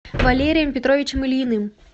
валерием петровичем ильиным